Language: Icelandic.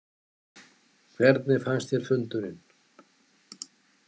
Hvernig fannst þér fundurinn?